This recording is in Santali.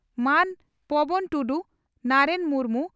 ᱢᱟᱱ ᱯᱚᱵᱚᱱ ᱴᱩᱰᱩ ᱱᱟᱨᱮᱱ ᱢᱩᱨᱢᱩ